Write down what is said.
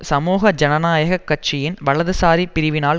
சமூக ஜனநாயக கட்சியின் வலதுசாரி பிரிவினால்